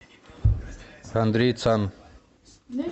андрей цан